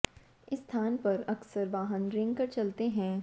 इस स्थान पर अक्सर वाहन रेंग कर चलते हैं